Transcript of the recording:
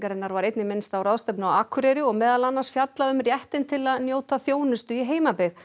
var einnig minnst á ráðstefn u á Akureyri og meðal annars fjallað um réttinn til að njóta þjónustu í heimabyggð